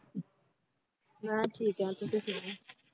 ਮੈਂ ਠੀਕ ਹਾਂ ਤੁਸੀਂ ਸੁਣਾਓ